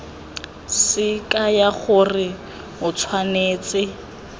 se kaya gore o tshwanetse